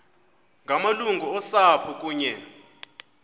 ngamalungu osapho kunye